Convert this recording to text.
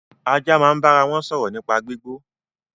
Ajá máa ń bára wọn sọ̀rọ̀ nípa gbígbó